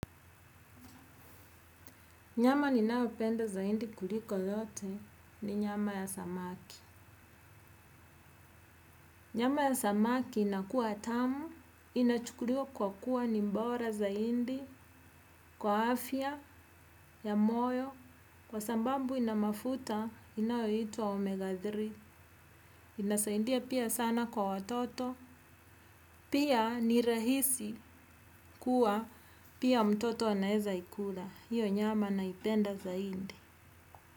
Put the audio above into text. Nyama ninayopenda zaindi kuliko yote ni nyama ya samaki. Nyama ya samaki inakua tamu, inachukuliwa kwa kuwa ni bora zaindi, kwa afya, ya moyo, kwa sababu ina mafuta inayoitwa omega tatu. Inasaindia pia sana kwa watoto, pia ni rahisi kuwa pia mtoto anaeza ikula. Hiyo nyama naipenda zaindi.